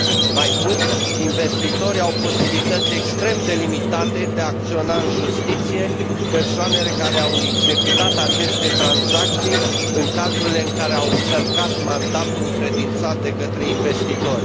Mai mult, investitorii au posibilități extrem de limitate de a acționa în justiție persoanele care au executat aceste tranzacții, în cazurile în care au încălcat mandatul încredințat de către investitori.